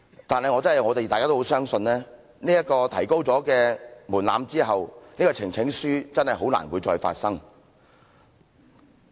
但是我們倒是很相信，提高了門檻之後，確真再難提交呈請書了。